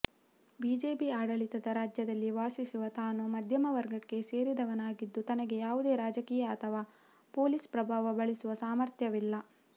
BJP ಆಡಳಿತದ ರಾಜ್ಯದಲ್ಲಿ ವಾಸಿಸುವ ತಾನು ಮಧ್ಯಮವರ್ಗಕ್ಕೆ ಸೇರಿದವನಾಗಿದ್ದು ತನಗೆ ಯಾವುದೇ ರಾಜಕೀಯ ಅಥವಾ ಪೊಲೀಸ್ ಪ್ರಭಾವ ಬಳಸುವ ಸಾಮರ್ಥ್ಯವಿಲ್ಲ